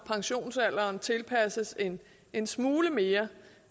pensionsalderen tilpasses en en smule mere